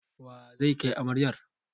Wa zai kai amarayar?